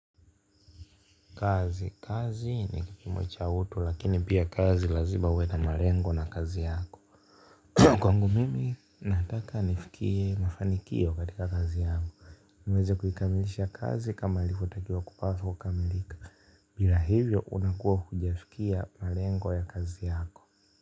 Kazi kazi ni kipimo cha utu lakini pia kazi lazima uwe na malengo na kazi yako kwangu mimi nataka nifikie mafanikio katika kazi yangu niweze kuikamilisha kazi kama ilivyo takia kupatha kukamilika ila hivyo unakuwa hujfikia malengo ya kazi yako.